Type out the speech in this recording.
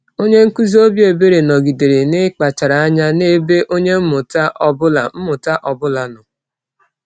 Onye nkuzi obi ebere nọgidere n’ịkpachara anya n’ebe onye mmụta ọ bụla mmụta ọ bụla nọ.